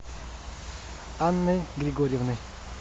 анной григорьевной